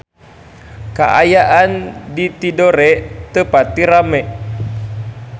Kaayaan di Tidore teu pati rame